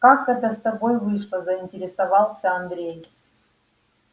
как это с тобой вышло заинтересовался андрей